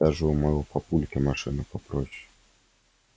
даже у моего папульки машина попроще